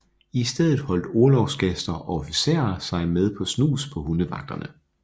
I stedet holdt orlogsgaster og officerer sig med snus på hundevagterne